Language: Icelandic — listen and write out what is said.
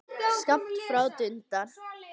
Skammt frá dundar